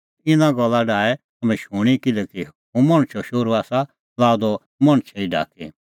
इना गल्ला डाहै तम्हैं शूणीं किल्हैकि हुंह मणछो शोहरू आसा लाअ द मणछै ई ढाकी